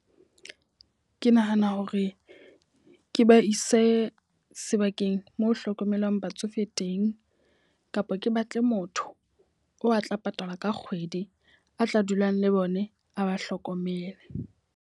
Ke nahana hore ke ba ise sebakeng mo hlokomelang batsofe teng. Kapa ke batle motho o a tla patalwa ka kgwedi, a tla dulang le bone a ba hlokomele.